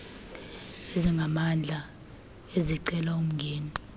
ezingamandla ezicela umngeni